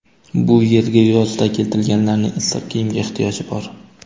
Bu yerga yozda keltirilganlarning issiq kiyimga ehtiyoji bor.